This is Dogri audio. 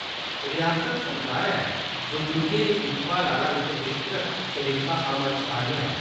रिआसती सरकारै बुजुर्गे दी दिक्खभाल आहला इक विस्तृत सरिस्ता अमल च आह्न्नेआ ।